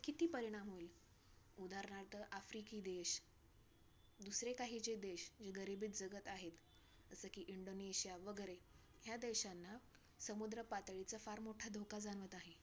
किती परिणाम होईल? उदारणार्थ आफ्रिकी देश दुसरे काही जे देश जे गरिबीत जगत आहेत. जसे की इंडोनेशिया वगैरे. ह्या देशांना समुद्र पातळीचा फार मोठा धोका जाणवत आहे.